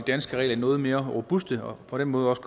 danske regler noget mere robuste og på den måde også